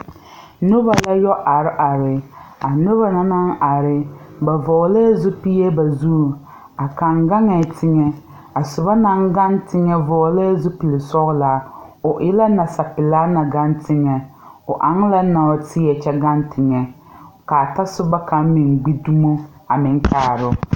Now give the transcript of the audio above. Nobɔ la yɔ are are a nobɔ na anŋ are ba vɔglɛɛ zupile ba zuŋ a kaŋ gaŋɛɛ teŋɛ a sobɔ naŋ gaŋ teŋɛ vɔɔlɛɛ zupile sɔglaa o e la nasapelaa na gaŋ teŋɛ o aŋ la nɔɔteɛ kyɛ gaŋ teŋɛ kaa tasobɔ kaŋ meŋ gbi dumo a meŋ kaaroo.